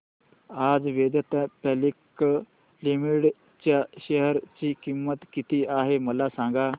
आज Vedanta public limited च्या share ची किंमत किती आहे मला सांगा